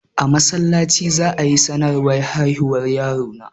A masallaci za'ayi sanarwar haihuwar yaron na